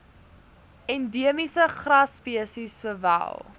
endiemiese grasspesies sowel